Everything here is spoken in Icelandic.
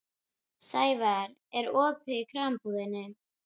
Sævarr, er opið í Krambúðinni?